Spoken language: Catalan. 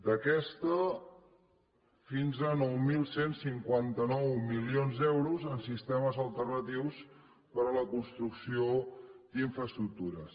d’aquesta fins a nou mil cent i cinquanta nou milions d’euros en sistemes alternatius per a la construcció d’infraestructures